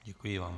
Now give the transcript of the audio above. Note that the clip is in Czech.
Děkuji vám.